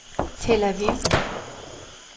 Tel Aviv